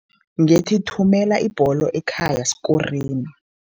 Ngethi, thumela ibholo ekhaya sikoreni.